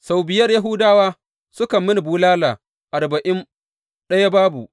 Sau biyar Yahudawa suka yi mini bulala arba’in ɗaya babu.